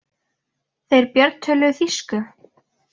Þeir Björn töluðu þýsku.